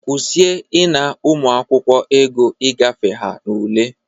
Kwusie ịna ụmụakwụkwọ ego i gafe ha n'ule!